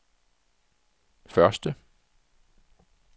første